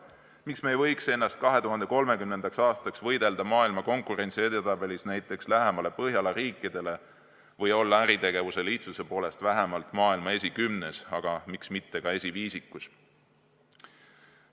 Miks me ei võiks ennast 2030. aastaks võidelda maailma konkurentsi edetabelis lähemale Põhjala riikidele või olla äritegevuse lihtsuse poolest vähemalt maailma esikümnes, aga miks mitte ka esiviisikus?